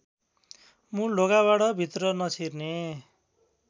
मूलढोकाबाट भित्र नछिर्ने